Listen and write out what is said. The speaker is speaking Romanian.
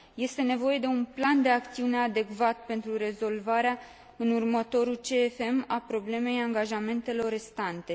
Este nevoie de un plan de acțiune adecvat pentru rezolvarea, în următorul CFM, a problemei angajamentelor restante.